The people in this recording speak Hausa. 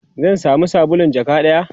zan samu sabulun jaka ɗaya?